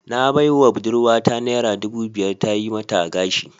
Na baiwa budurwata naira dubu biyar ta yi mata gashi